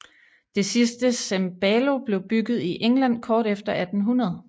Det sidste cembalo blev bygget i England kort efter 1800